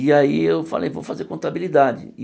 E aí eu falei, vou fazer contabilidade.